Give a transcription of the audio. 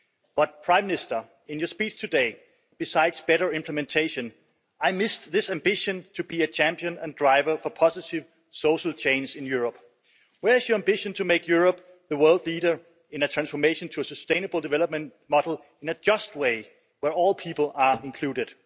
But, Prime Minister, in your speech today, besides better implementation, I missed this ambition to be a champion and driver for positive social change in Europe. Where is your ambition to make Europe the world leader in a transformation to a sustainable development model in a just way where all people are included?